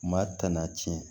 Maa tana tiɲɛ